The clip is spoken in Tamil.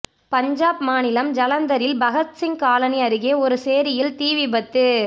பஞ்சாப் மாநிலம் ஜலந்தரில் பகத்சிங் காலனி அருகே ஒரு சேரியில் தீ விபத்து